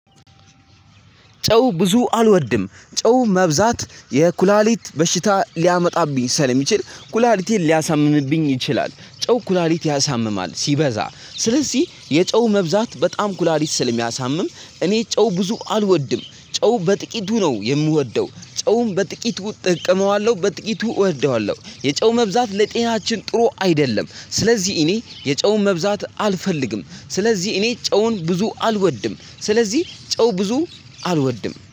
ጨው ብዙ አልወድም ጨው መብዛት የኩላሊት በሽታ ሊያመጣብኝ ሰለ ሚችል ኩላሊቲን ሊያሳምምብኝ ይችላል። ጨው ኩላሊት ያሳምማል ሲበዛ ስለዚህ የጨው መብዛት በጣም ኩላሊት ስለሚያሳምም። እኔ ጨው ብዙ አልወድም ጨው በጥቂቱ ነው የምወደው ጨውን በጥቂቱ እጠቀመዋለሁ። በጥቂቱ እወደዋለሁ የጨው መብዛት ለጤናችን ጥሩ አይደለም ስለዚህ እኔ የጨውን መብዛት አልፈልግም። ስለዚህ እኔ ጨውን ብዙ አልወድም ስለዚህ ጨው ብዙ አልወድም